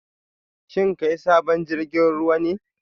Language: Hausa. Shin kai sabon jirgin ruwa ne?